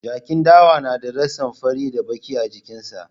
Jakin dawa na ratsin fari da baƙi a jikin sa